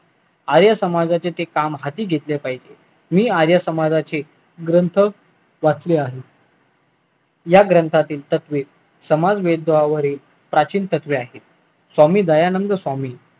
आर्य समाजचे ते काम हाती घेतले पाहिजे मी आर्य समाजचे ग्रंथ वाचले आहेत या ग्रंथातील तत्वे समाज वरील प्राचीन तत्वे आहेत स्वामी दयानंद स्वामी